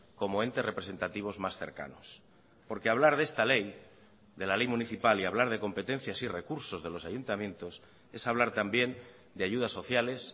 como entes representativos más cercanos porque hablar de esta ley de la ley municipal y hablar de competencias y recursos de los ayuntamientos es hablar también de ayudas sociales